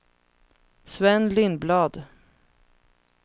Sven Lindblad